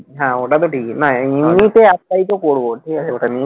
হ্যাঁ ওটা তো ঠিকই না এমনি তো apply তো করবো ঠিক আছে